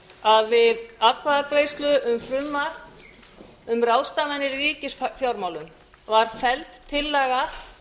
að við atkvæðagreiðslu um frumvarp um ráðstafanir í ríkisfjármálum var felld tillaga